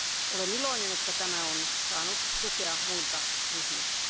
Olen iloinen, että tämä on saanut tukea muilta ryhmiltä.